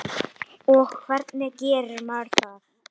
Og hvernig gerir maður það?